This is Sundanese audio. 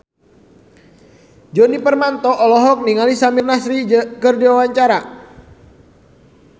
Djoni Permato olohok ningali Samir Nasri keur diwawancara